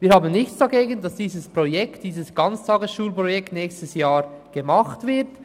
Wir haben nichts dagegen, dass dieses Ganztagesschulprojekt nächstes Jahr gemacht wird.